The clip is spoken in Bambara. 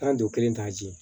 Taa don kelen ta di